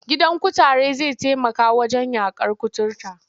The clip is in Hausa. Gidan kutare zai taimaka wajen yaƙar kuturta.